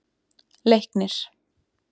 Leiknir